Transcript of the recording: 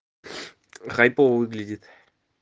хайпово выглядит